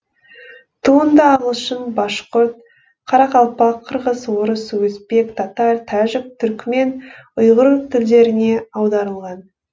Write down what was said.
туынды ағылшын башқұрт қарақалпақ қырғыз орыс өзбек татар тәжік түрікмен ұйғыр тілдеріне аударылған